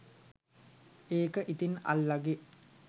ඒක ඉතින් අල්ලගෙ